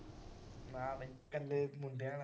ਨਾ ਬਈ ਇਕੱਲੇ ਮੁੰਡਿਆਂ ਵਾਲਾ।